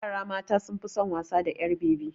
Yara mata sun fi son wasa da ƴar bebi.